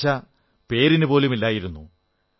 നിരാശ പേരിനുപോലുമില്ലായിരുന്നു